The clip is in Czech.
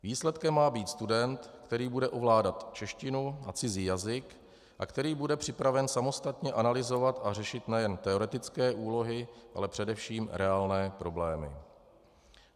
Výsledkem má být student, který bude ovládat češtinu a cizí jazyk a který bude připraven samostatně analyzovat a řešit nejen teoretické úlohy, ale především reálné problémy.